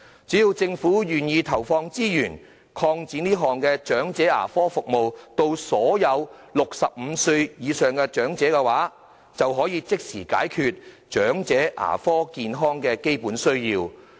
只要政府願意投放資源，擴展這項長者牙科服務資助項目至所有65歲或以上的長者，便可以即時解決長者口腔健康的基本需要。